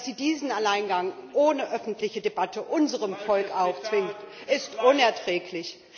Dass sie diesen Alleingang ohne öffentliche Debatte unserem Volk aufzwingt, ist unerträglich.